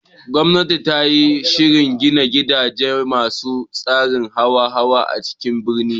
Gwamnati tayi shirin gini gidaje masu tsarin hawa-hawa a cikin birni